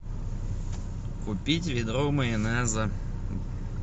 купить ведро майонеза